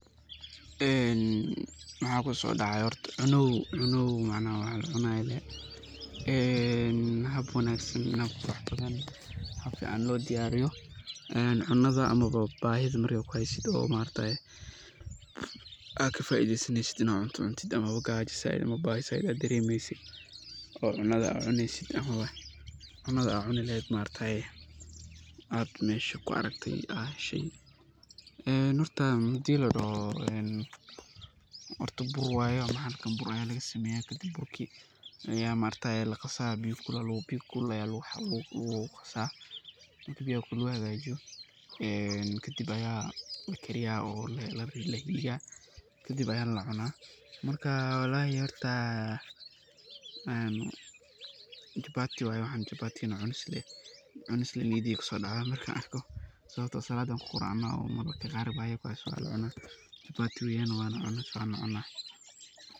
Maxa kuso dacaya cunow, cunow hab fican lo diyariyo cunada markey bahida kuheyso maaragataye aa kafaideysa neysid oo cunta ama bahi zaid aa daremeysid oo cunada aad cuneyssid mesha kuaragtaye. Horta buur waye hadii ladoho ,bahalka buur aa lagasameye oo biyo kulul aa lagu qasaa ,marka biyaha kulul lagu qaso kadib ayaa lakariya ama lahagajiyaa ,kadib ayaa lacuna walahi horta .Horta chapati, lee waye waxan cunis lee maskax deyda kuso dacda markan arko ,sababto ah saladi ayan ku quracana ,mararka qaar oo bahi ay kuheso waa lacuna naf walacuna.